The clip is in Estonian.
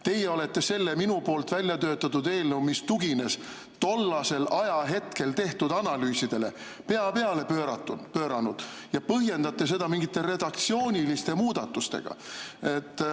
Teie olete selle minu väljatöötatud eelnõu, mis tugines tol ajahetkel tehtud analüüsidele, pea peale pööranud ja põhjendate seda mingite redaktsiooniliste muudatustega.